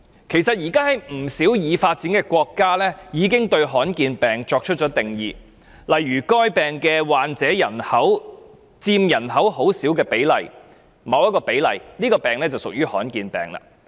其實，現時不少已發展國家已為罕見疾病作出定義，例如該疾病的患者佔人口很少比例或某一個比例，這種疾病便屬於罕見疾病。